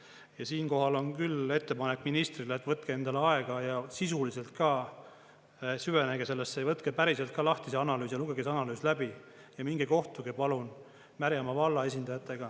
Ja siinkohal on küll ettepanek ministrile, et võtke endale aega ja sisuliselt ka süvenege sellesse ja võtke päriselt ka lahti see analüüs ja lugege see analüüs läbi ja minge kohtuge palun Märjamaa valla esindajatega.